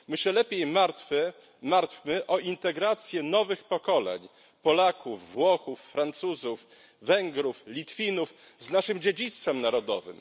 My się lepiej martwmy o integrację nowych pokoleń Polaków, Włochów, Francuzów, Węgrów, Litwinów z naszym dziedzictwem narodowym.